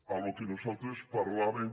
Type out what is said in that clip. al que nosaltres parlàvem